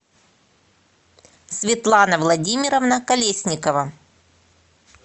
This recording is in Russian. светлана владимировна колесникова